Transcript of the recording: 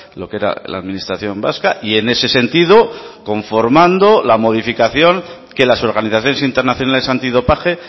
lo que era la administración vasca y en ese sentido conformando la modificación que las organizaciones internacionales antidopaje